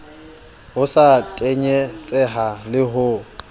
sa ho tenyetseha le ho